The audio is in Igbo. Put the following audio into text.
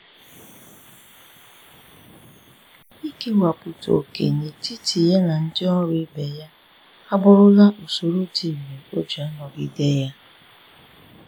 Ikewapụta ókè n'etiti ya na ndị ọrụ ibe ya abụrụla usoro dị irè o ji a nagide ya.